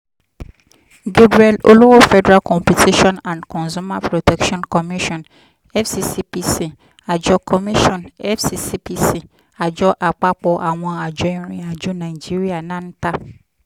gabriel olowofederal competition and consumer protection commission (fccpc)àjọ commission (fccpc)àjọ àpapọ̀ àwọn àjọ ìrìn àjò nàìjíríà (nanta)